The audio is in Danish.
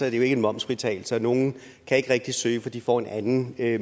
ikke en momsfritagelse og nogle kan ikke rigtig søge for de får en anden